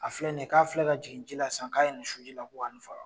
A filɛ nin ye k'a filɛ ka jigin ji la sisan k'a ye nin su ji la k ko ni faga.